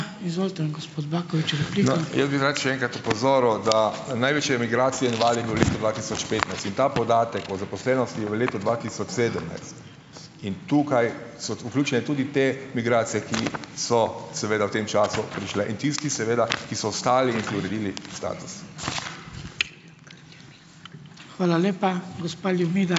Jaz bi rad še enkrat opozoril, da največje migracije in val je bil v letu dva tisoč petnajst. In ta podatek o zaposlenosti je v letu dva tisoč sedemnajst . In tukaj so vključene tudi te migracije, ki so seveda v tem času prišle, in tisti seveda, ki so ostali in si uredili status.